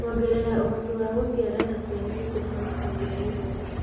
Kũongerera ũhoti wa gũcĩara na ciana nĩ kũhonokagia mĩoyo.